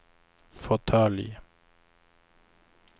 fåtölj